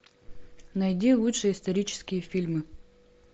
найди лучшие исторические фильмы